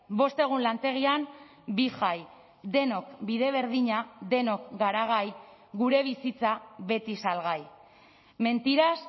bost egun lantegian bi jai denok bide berdina denok gara gai gure bizitza beti salgai mentiras